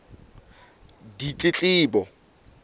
ditletlebo